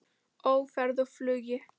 Á ferð og flugi